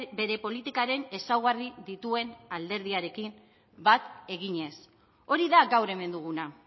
bere politikaren ezaugarri dituen alderdiarekin bat eginez hori da gaur hemen duguna